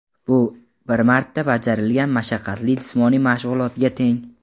Bu bir marta bajarilgan mashaqqatli jismoniy mashg‘ulotga teng.